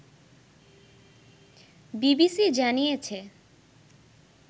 BBC জানিয়েছে